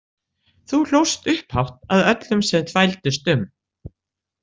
Þú hlóst upphátt að öllum sem þvældust um.